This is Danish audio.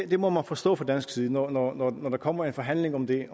det må man forstå fra dansk side når når der kommer en forhandling om den